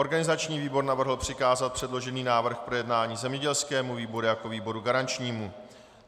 Organizační výbor navrhl přikázat předložený návrh k projednání zemědělskému výboru jako výboru garančnímu.